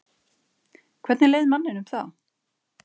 Hvernig leið manninum þá?